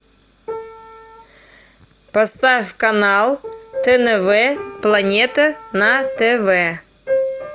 поставь канал тнв планета на тв